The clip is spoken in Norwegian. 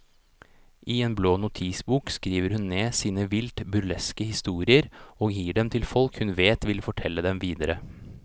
I en blå notisbok skriver hun ned sine vilt burleske historier og gir dem til folk hun vet vil fortelle dem videre.